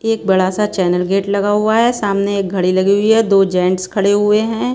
एक बड़ा सा चैनल गेट लगा हुआ है सामने एक घड़ी लगी हुई है दो जेंट्स खड़े हुए हैं।